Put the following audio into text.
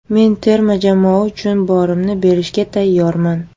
Men terma jamoa uchun borimni berishga tayyorman.